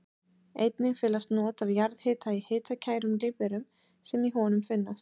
Einnig felast not af jarðhita í hitakærum lífverum sem í honum finnast.